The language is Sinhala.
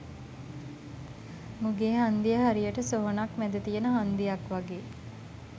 මුගේ හංදිය හරියට සොහොනක් මැද තියෙන හංදියක් වගේ.